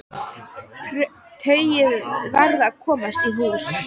Tauið varð að komast í hús.